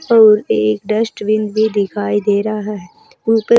अउर एक डस्टबिन भी दिखाई दे रहा है।